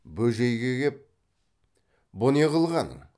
бөжейге кеп бұ не қылғаның